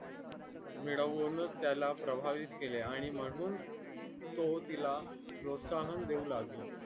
मिळवून त्याला प्रवाहित केले आणि म्हणून तो तिला प्रोत्साहन देऊ लागला